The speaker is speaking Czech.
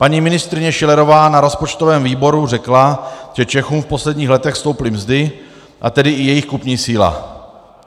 Paní ministryně Schillerová na rozpočtovém výboru řekla, že Čechům v posledních letech stouply mzdy, a tedy i jejich kupní síla.